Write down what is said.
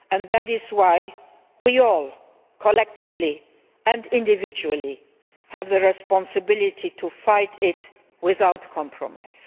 That is why we all, collectively and individually, have the responsibility to fight it without compromise.